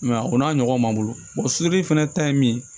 o n'a ɲɔgɔn man bolo fɛnɛ ta ye min ye